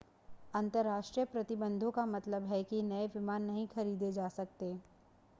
अंतर्राष्ट्रीय प्रतिबंधों का मतलब है कि नए विमान नहीं खरीदे जा सकते